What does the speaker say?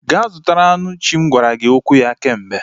Gaa zụta anụ nchi m gwara gị okwu ya kemgbe